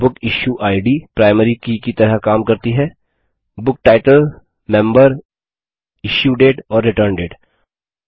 बुकिश्यूड primary key की तरह काम करती है booktitlememberइश्यूडेट और रिटर्नडेट